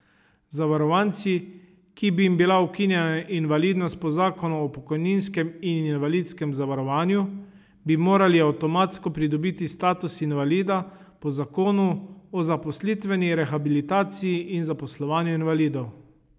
Zavarovanci, ki bi jim bila ukinjena invalidnost po zakonu o pokojninskem in invalidskem zavarovanju, bi morali avtomatsko pridobiti status invalida po zakonu o zaposlitveni rehabilitaciji in zaposlovanju invalidov.